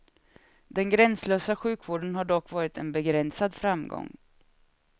Den gränslösa sjukvården har dock varit en begränsad framgång.